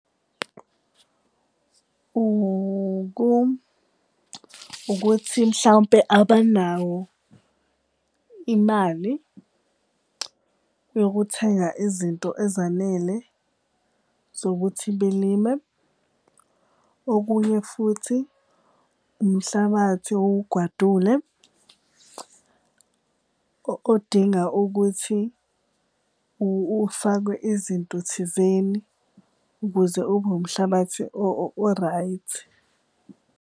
Ukuthi mhlawumpe abanawo imali yokuthenga izinto ezanele zokuthi belime. Okunye futhi umhlabathi owugwadule odinga ukuthi ufakwe izinto thizeni ukuze ube umhlabathi o-right.